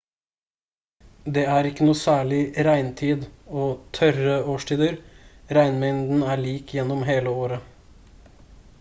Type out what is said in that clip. det er ikke noe særlig «regntid» og «tørre» årstider:-regnmengden er lik gjennom hele året